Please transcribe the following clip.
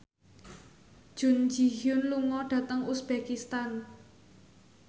Jun Ji Hyun lunga dhateng uzbekistan